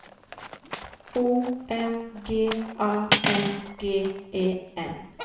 O M G A N G E N